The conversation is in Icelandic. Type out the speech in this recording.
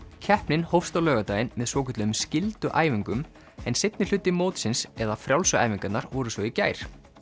keppnin hófst á laugardaginn með svokölluðum en seinni hluti mótsins eða frjálsu æfingarnar voru svo í gær